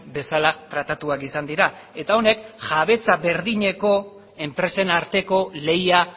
bezala tratatuak izan dira eta honek jabetza berdineko enpresen arteko lehia